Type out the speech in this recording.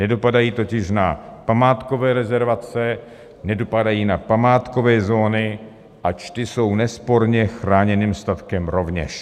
Nedopadají totiž na památkové rezervace, nedopadají na památkové zóny, ač ty jsou nesporně chráněným statkem rovněž.